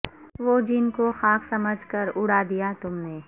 وہ جن کو خاک سمجھ کر اڑا دیا تم نے